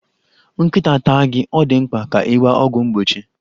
Nkịta taa gị, ọ dị mkpa ka ị gba ọgwụ mgbochi.